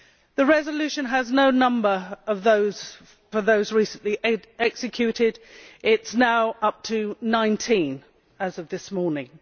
The resolution has no number for those recently executed it is now up to 19, as of this morning.